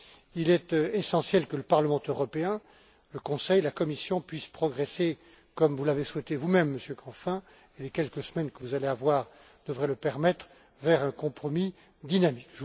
Il est essentiel que le Parlement européen, le Conseil et la Commission puissent progresser, comme vous l'avez souhaité vous même, Monsieur Canfin, et les quelques semaines que vous allez avoir devraient le permettre vers un compromis dynamique.